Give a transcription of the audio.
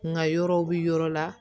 Nka yɔrɔw bi yɔrɔ la